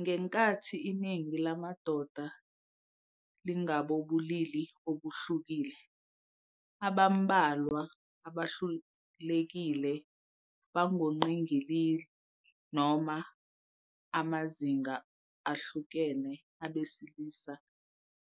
Ngenkathi iningi lamadoda lingabobulili obuhlukile, abambalwa abalulekile bangongqingili noma amazinga ahlukene abesilisa